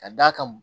Ka d'a kan